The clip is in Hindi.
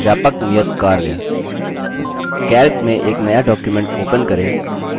व्यापक नियतकार्य